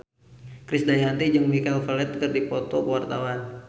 Krisdayanti jeung Michael Flatley keur dipoto ku wartawan